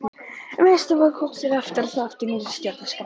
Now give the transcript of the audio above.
Um haustið var kosið aftur og þá eftir nýrri stjórnarskrá.